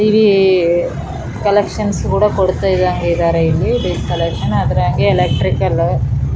ಇಲ್ಲಿ ಕನೆಕ್ಷನ್ ಕೂಡ ಕೊಡ್ತಯಿದಂಗ್ ಇದಾರೆ ಇಲ್ಲಿ ಡಿಶ್ ಕೊನೆಕ್ಷನ್ ಅದರಂಗೆ ಎಲೆಕ್ಟ್ರಿಕ್ .